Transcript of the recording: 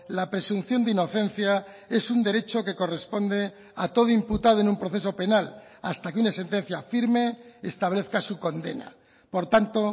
la presunción de inocencia es un derecho que corresponde a todo imputado en un proceso penal hasta que una sentencia firme establezca su condena por tanto